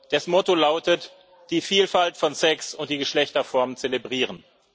Das Motto lautet Die Vielfalt von Sex und der Geschlechterformen zelebrieren.